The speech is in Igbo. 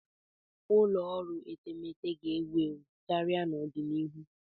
Ụlọ ọrụ etemeete ga-ewu ewu karịa n'ọdịnihu.